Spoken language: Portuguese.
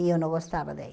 E eu não gostava daí.